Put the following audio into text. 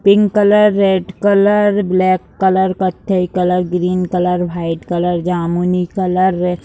pink colour red colour black colour कत्थई colour green colour white colour जामुनी colour --